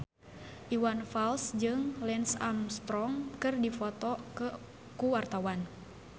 Iwan Fals jeung Lance Armstrong keur dipoto ku wartawan